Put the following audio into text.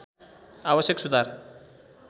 आवश्यक सुधार